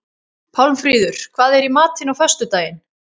Pálmfríður, hvað er í matinn á föstudaginn?